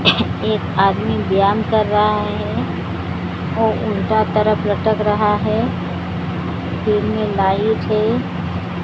एक आदमी ध्यान कर रहा हैं वो उल्टा तरफ लटक रहा हैं में लाइट हैं।